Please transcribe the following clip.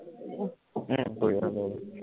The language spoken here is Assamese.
উম কৰিবা কৰিবা